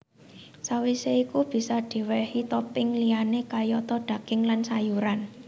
Sawisé iku bisa diwèhi topping liyané kayata daging lan sayuran